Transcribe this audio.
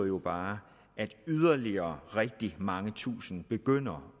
jo bare at yderligere rigtig mange tusinde begynder